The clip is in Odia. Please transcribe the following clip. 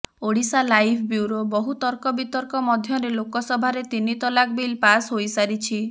ଓଡ଼ିଶାଲାଇଭ୍ ବ୍ୟୁରୋ ବହୁ ତର୍କ ବିତର୍କ ମଧ୍ୟରେ ଲୋକସଭାରେ ତିନି ତଲାକ ବିଲ୍ ପାସ୍ ହୋଇସାରିଛି